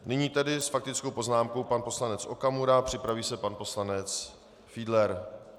Nyní tedy s faktickou poznámkou pan poslanec Okamura, připraví se pan poslanec Fiedler.